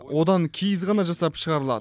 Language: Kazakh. одан киіз ғана жасап шығарылады